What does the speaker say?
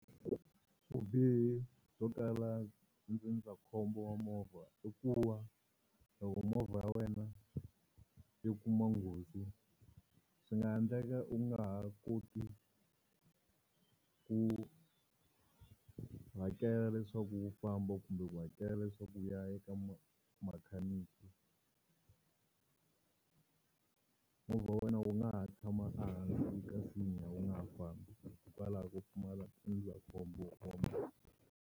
Vubihi byo tala ndzindzakhombo wa movha i ku va loko movha ya wena yo kuma nghozi swi nga endleka u nga ha koti ku hakela leswaku wu famba kumbe ku hakela leswaku u ya eka makhaniki, movha wa wena wu nga ha tshama ehansi ka nsinya wu nga ha fambi hikwalaho ko pfumala ndzindzakhombo wa movha.